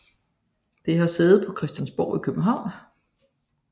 Det har sæde på Christiansborg i København